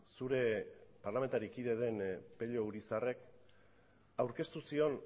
zure parlamentari kide den pello urizarrek aurkeztu zion